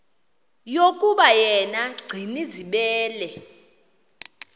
yokuba yena gcinizibele